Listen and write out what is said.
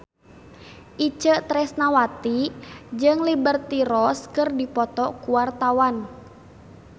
Itje Tresnawati jeung Liberty Ross keur dipoto ku wartawan